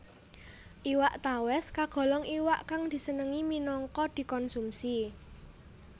Iwak tawès kagolong iwak kang disenengi minangka dikonsumsi